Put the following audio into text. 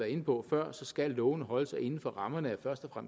inde på før skal lovene holde sig inden for rammerne af først og